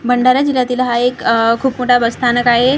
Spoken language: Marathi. भंडारा जिल्ह्यातील हा एक अह खूप मोठा बस स्थानक आहे.